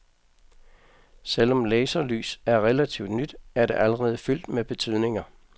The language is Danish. Selvom laserlys er relativt nyt, er det allerede fyldt med betydninger.